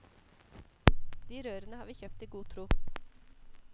De rørene har vi kjøpt i god tro.